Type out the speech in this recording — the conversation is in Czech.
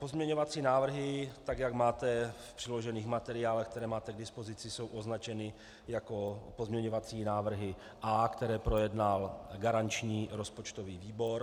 Pozměňovací návrhy, tak jak máte v přiložených materiálech, které máte k dispozici, jsou označeny jako pozměňovací návrhy A, které projednal garanční rozpočtový výbor.